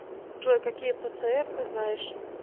джой какие пцр ты знаешь